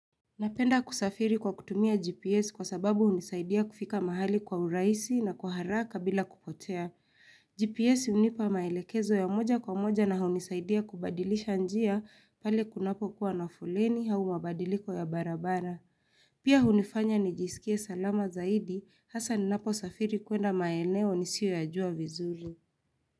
Napenda kusafiri kwa kutumia GPS kwa sababu hunisaidia kufika mahali kwa urahisi na kwa haraka bila kupotea. GPS hunipa maelekezo ya moja kwa moja na hunisaidia kubadilisha njia pale kunapokuwa na fuleni au mabadiliko ya barabara. Pia unifanya nijisikie salama zaidi hasa ninaposafiri kwenda maeneo nisiyo yajua vizuri.